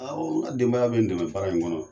Awɔ n ka denbaya bɛ n dɛmɛ baara in kɔnɔ.